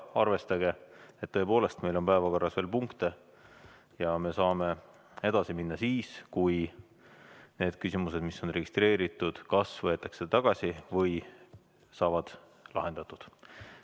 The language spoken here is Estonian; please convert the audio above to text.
Arvestage, et meil on päevakorras veel punkte ja me saame edasi minna siis, kui need küsimused, mis on registreeritud, kas võetakse tagasi või saavad lahendatud.